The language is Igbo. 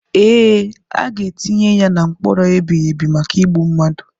Ee, aga etinye ya na mkpọrọ ebighị ebi maka igbu mmadu.